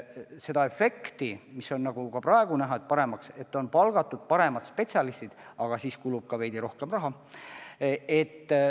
Seda efekti on praegu näha, et on palgatud paremad spetsialistid, aga nendele kulub ka veidi rohkem raha.